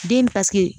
Den paseke